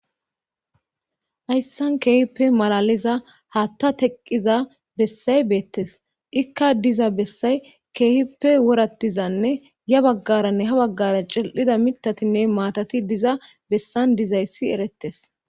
Hayssan keehippe malaliza hatta teqqiza bessay beettes ikka diza bessay keehippe worattizanne ya baggaranne ha baggara cil7ida mitatinne maatati diza bessan dizayssi erettes.